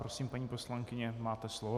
Prosím, paní poslankyně, máte slovo.